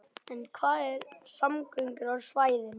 En hvað með samgöngur á svæðinu?